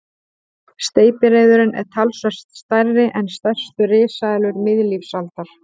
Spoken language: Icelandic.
Steypireyðurin er talsvert stærri en stærstu risaeðlur miðlífsaldar.